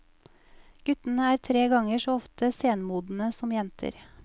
Guttene er tre ganger så ofte senmodne som jenter.